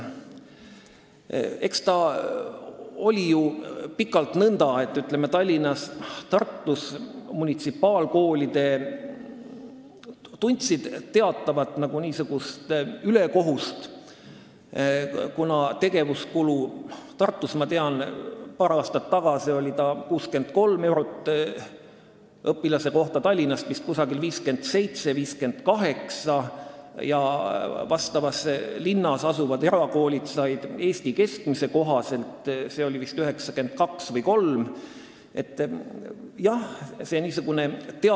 Eks ole ju pikalt nõnda olnud, et Tallinnas ja Tartus on munitsipaalkoolid tajunud teatavat ülekohut, kuna tegevuskulutoetus Tartus, ma tean, oli paar aastat tagasi 63 eurot õpilase kohta, Tallinnas vist 57–58 eurot, aga samas linnas asuvad erakoolid said toetust Eesti keskmise kohaselt, vist 92–93 eurot.